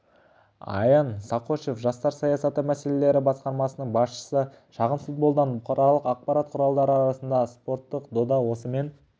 аян сақошев жастар саясаты мәселелері басқармасының басшысы шағын футболдан бұқаралық ақпарат құралдары арасындағы спорттық дода осымен